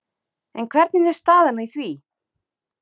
En hvernig er staðan í því?